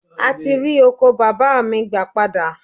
A ti rí oko bàbá mi gbà padà